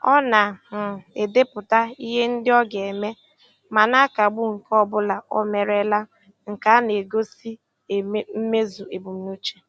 Ọ na um - edepụta ihe ndị o ga-eme, ma na akagbu nke ọbụla omerela, nke a na - egosi mmezu ebumnuche.